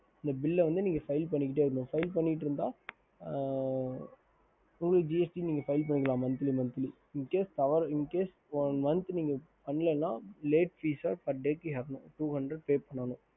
ஹம்